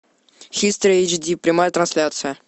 хистори эйч ди прямая трансляция